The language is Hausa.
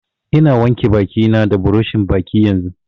Ina wanke baki na da buroshin baki yanzun